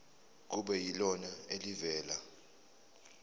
kube yilona elivela